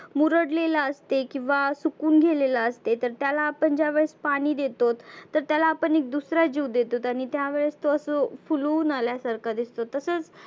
मुरडलेलं असते. किंवा सुकुन गेलेलं असते तर त्याला आपण ज्यावेळेस पाणि देतोत. तर त्याला आपण एक दुसरा जिव देतोत. आणि त्या वेळेस तो असं फुलवुन आल्या सारखा दिसतो. तसच